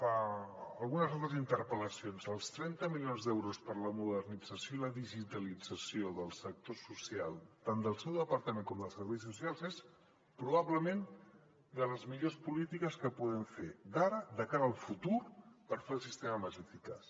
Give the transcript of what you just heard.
en algunes altres interpel·lacions els trenta milions d’euros per a la modernització i la digitalització del sector social tant del seu departament com dels serveis socials és probablement de les millors polítiques que podem fer de cara al futur per fer el sistema més eficaç